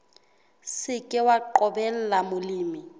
se ke wa qobella molemi